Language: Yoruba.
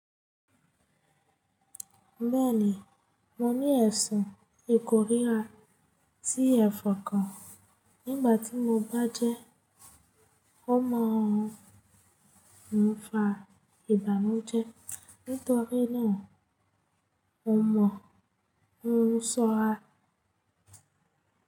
Bẹ́ẹ̀ni mo ní aisàn ìkórira sí ẹ̀fọ́ kan nígbà tí mo bá jẹ́ ọmọ Òǹfà ìbànújẹ́ nítorí náà mo mọ oun sọ́ra.